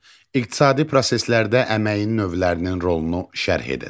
İqtisadi proseslərdə əməyin növlərinin rolunu şərh edin.